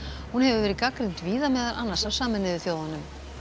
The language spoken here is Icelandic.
hún hefur verið gagnrýnd víða meðal annars af Sameinuðu þjóðunum